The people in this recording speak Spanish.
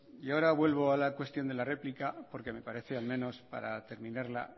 ahora vuelvo a la cuestión de la réplica porque me parece al menos para terminarla